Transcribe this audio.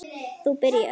Þú byrjar.